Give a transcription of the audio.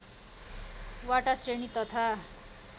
वटा श्रेणी तथा